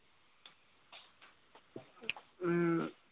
উম